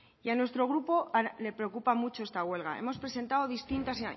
y a nuestro grupo le preocupa mucho esta huelga hemos presentado distintas